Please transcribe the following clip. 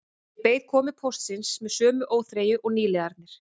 Ég beið komu póstsins með sömu óþreyju og nýliðarnir